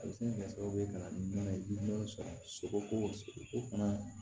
A bɛ se ka kɛ sababu ye ka na ni bana ye sago ko sogoko fana